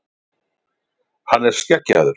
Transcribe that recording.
Hann er skeggjaður.